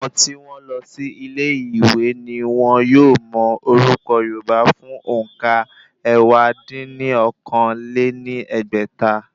Àwọn tí wọ́n lọ sí ilé ìwé ni wọ́n yóò mọ orúkọ̀ yorùbá fún òǹkà ẹ̀wá dín ní okòó-lé-ní-ẹgbẹ́ta.